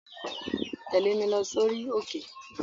Tẹ̀lé mi lọ sórí òkè!